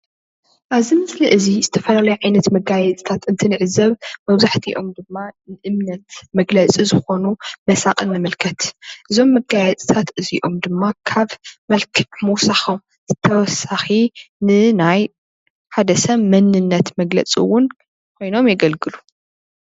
ኣብዚ ምስሊ እዚ ዝተፈላለዩ ዓይነታት መጋየፅታት እንትንዕዘብ መብዛሕትኦም ድማ እምነት መግለፂ ዝኮኑ መሳቅል ንምልከት፡፡ እዞም መጋየፅታት እዚኦም ድማ ካብ መልክዕ ምውሳኮም ብተወሳኪ ንናይ ንሓደ ሰብ መንነት መግለፂ እውን ኮይኖም የገልግሉ፡፡